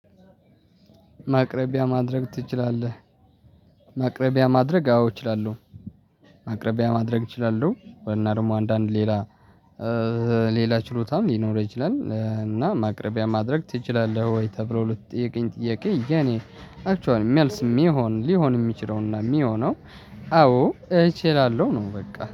ማቅረቢያ ማድረግ ትችላለህ? ማቅረቢያ ማድረግ አዎ እችላለሁ። ማቅረቢያ ማድረግ እችላለሁ ወይና ደግሞ አንዳንድ ሌላ ሌላ ችሎታም ሊኖረህ ይችላል እና ማቅረቢያ ማድረግ ትችላለህ ወይ ተብሎ ለተጠየቀኝ ጥያቄ? የኔ አክችዋል መልስ የሚሆን ሊሆን የሚችለውና የሚሆነው አዎ እችላለሁ ነው በቃ